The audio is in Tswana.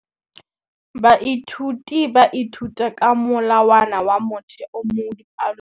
Baithuti ba ithuta ka molawana wa motheo mo dipalong.